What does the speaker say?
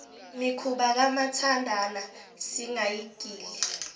mikhuba kamathandana singayigili